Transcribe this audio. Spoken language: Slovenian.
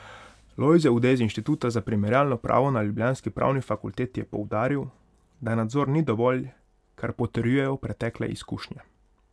Lojze Ude z Inštituta za primerjalno pravo na ljubljanski pravni fakulteti je poudaril, da nadzor ni dovolj, kar potrjujejo pretekle izkušnje.